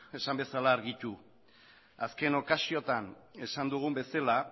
esan bezala argitu azken okasiotan esan dugun bezala